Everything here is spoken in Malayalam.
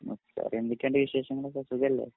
ഉം എന്തൊക്കെയുണ്ട് വിശേഷങ്ങളൊക്കെ സുഖലേ